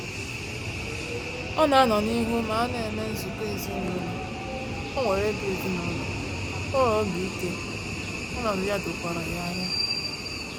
Ọ na anọ n'ihu ma ana eme nzukọ ezinaụlọ, onwere obi ezinaụlọ, onwere obi ike, ọnọdụ ya dokwara ya anya